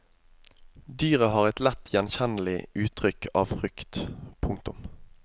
Dyret har et lett gjenkjennelig uttrykk av frykt. punktum